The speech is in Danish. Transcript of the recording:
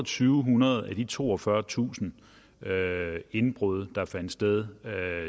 hundrede af de toogfyrretusind sager om indbrud der fandt sted